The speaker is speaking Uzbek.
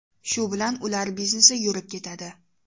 Shu bilan ular biznesi yurib ketadi.